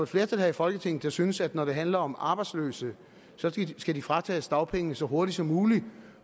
flertal her i folketinget der synes at når det handler om arbejdsløse skal de fratages dagpengene så hurtigt som muligt